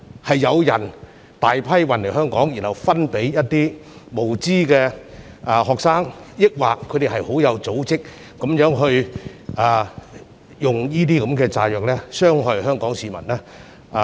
是有人大批運來香港後分派給無知的學生，抑或有組織地運用這些炸藥來傷害香港市民？